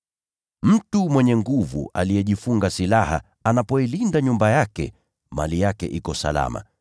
“Mtu mwenye nguvu aliyejifunga silaha anapoilinda nyumba yake, mali yake iko salama.